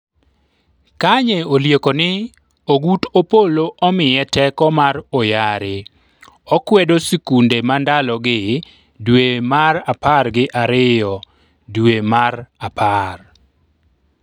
Kanye olieko ni ogut Opollo omiye teko mar oyare, okwedo sikunde ma ndalogi dwe mar apar gi ariyo dwe mar apar